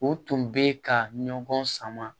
O tun bɛ ka ɲɔgɔn sama